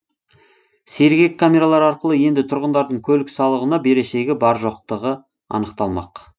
сергек камералары арқылы енді тұрғындардың көлік салығына берешегі бар жоқтығы анықталмақ